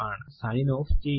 sign off ചെയ്യുന്നു